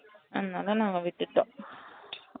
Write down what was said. அதுனால நாங்க விட்டுடோம்